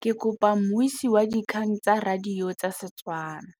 Ke kopane mmuisi w dikgang tsa radio tsa Setswana.